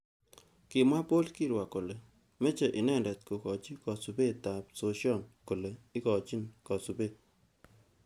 Kimwa Paul kirwa kole meche inendet kokochi kasubet ab sosion kole ikochin kasubet.